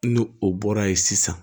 N'o o bɔra yen sisan